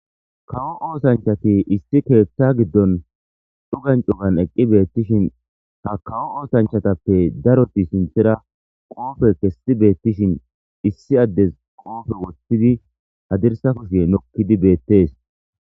kawo oosanchati issi keeththa giddon cugancugan eqqi beettishin ha kawo oosanchatappe daroti sinthera qoofe kessi beettishin issi addes qoofe woththidi hadirsa kushiye nokkidi beettees